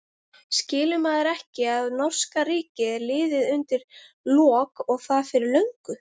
Skilur maðurinn ekki að norska ríkið er liðið undir lok og það fyrir löngu?